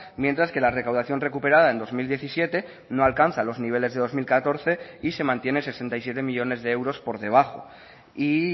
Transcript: mientras que la recaudación recuperada en dos mil diecisiete no alcanza los niveles de dos mil catorce y se mantiene sesenta y siete millónes de euros por debajo y